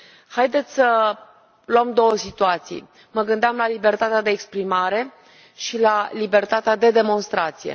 Haideți să luăm două situații mă gândeam la libertatea de exprimare și la libertatea de demonstrație.